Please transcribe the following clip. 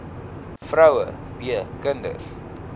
vroue b kinders